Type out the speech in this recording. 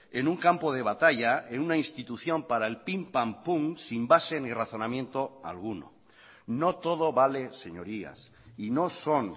en un campo de batalla en una institución para el pimpampum sin base ni razonamiento alguno no todo vale señorías y no son